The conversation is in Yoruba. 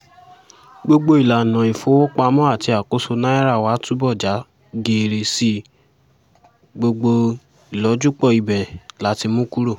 gbogbo ìlànà ìfowópamọ́ àti àkóso náírà wá túbọ̀ já geere sí i gbogbo ìlọ́júpọ̀ ibẹ̀ la ti mú kúrò